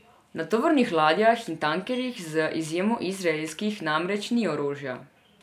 Na tovornih ladjah in tankerjih, z izjemo izraelskih, namreč ni orožja.